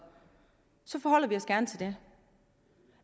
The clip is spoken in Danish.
så forholder vi os gerne til det